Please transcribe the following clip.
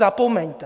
Zapomeňte.